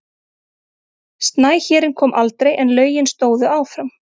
Snæhérinn kom aldrei en lögin stóðu áfram.